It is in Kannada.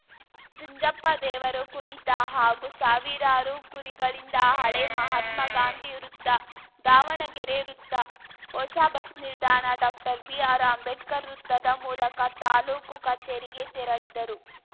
ಜುಂಜಪ್ಪ ದೇವರ ಕುಣಿತ ಹಾಗೂ ಸಾವಿರಾರರು ಕುರಿಗಳಿಂದ ಹಳೇ ಮಹಾತ್ಮ ಗಾಂಧಿ ವೃತ್ತ ದಾವಣಗೆರೆ ವೃತ್ತ ಹೊಸ ಬಸ್‌ ನಿಲ್ದಾಣ ಡಾಕ್ಟರ್ ಬಿಆರ್‌ ಅಂಬೇಡ್ಕರ್‌ ವೃತ್ತದ ಮೂಲಕ ತಾಲೂಕು ಕಚೇರಿಗೆ ತೆರಳಿದರು